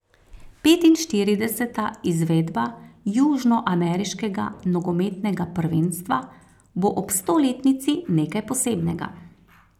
Petinštirideseta izvedba južnoameriškega nogometnega prvenstva bo ob stoletnici nekaj posebnega.